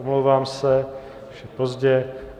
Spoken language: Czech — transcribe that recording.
Omlouvám se, už je pozdě.